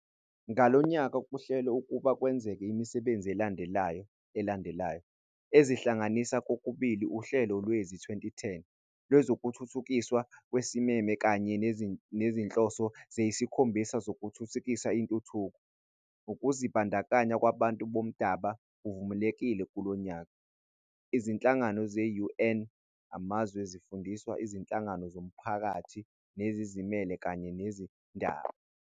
Ngalonyaka kuhlelwe ukuba kwenzeke imisebenzi elandelayo elandelayo, ezihlanganisa kokubili uhlelo lwezi-2010 lwezokuthuthukiswa okusimeme kanye nezinhloso eziyisikhombisa zokuthuthukisa intuthuko. Ukuzibandakanya kwabantu bomdaba kuvulelekile kulo nyaka, izinhlangano ze-UN, amazwe, izifundiswa, izinhlangano zomphakathi nezizimele kanye nabezindaba.